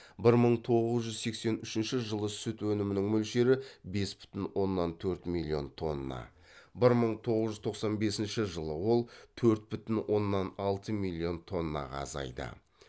бір мың тоғыз жүз сексен үшінші жылы сүт өнімінің мөлшері бес бүтін оннан төрт миллион тонна бір мың тоғыз жүз тоқан бесінші жылы ол төрт бүтін оннан алты миллион тоннаға азайды